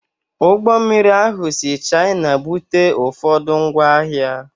Ụgbọ mmiri ahụ si China bute ụfọdụ ngwa ahịa